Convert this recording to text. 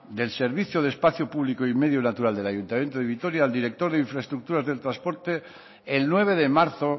del servicio de espacio público y medio natural del ayuntamiento de vitoria al director de infraestructuras del transporte el nueve de marzo